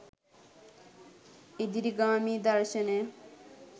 ඉදිරිගාමී දර්ශනය